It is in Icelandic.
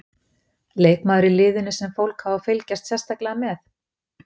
Leikmaður í liðinu sem fólk á að fylgjast sérstaklega með?